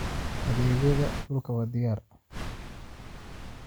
Adeegyada dhulka waa diyaar.